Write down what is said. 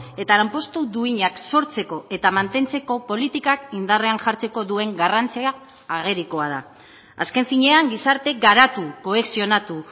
eta lanpostu duinak sortzeko eta mantentzeko politikak indarrean jartzeko duen garrantzia agerikoa da azken finean gizarte garatu kohesionatu